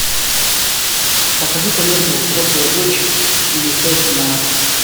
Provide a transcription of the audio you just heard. покажи ка ленту взрослая дочь или тест на